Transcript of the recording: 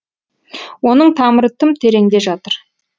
оның тамыры тым тереңде жатыр